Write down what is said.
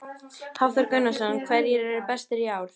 Hafþór Gunnarsson: Hverjir eru bestir í ár?